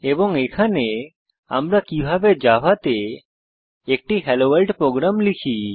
এবং এখানে আমরা কিভাবে জাভা তে একটি হেলোভোর্ল্ড প্রোগ্রাম লিখি